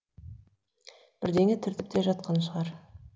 бірдеңе түртіп те жатқан шығар